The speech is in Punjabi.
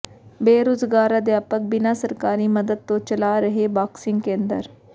ਬੇਰੁਜ਼ਗਾਰ ਅਧਿਆਪਕ ਬਿਨਾਂ ਸਰਕਾਰੀ ਮਦਦ ਤੋਂ ਚਲਾ ਰਿਹੈ ਬਾਕਸਿੰਗ ਕੇਂਦਰ